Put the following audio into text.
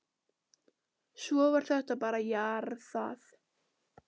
Svo var þetta bara jarðað.